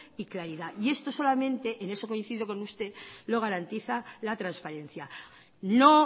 y claridad y esto solamente en esto coincido con usted lo garantiza la transparencia no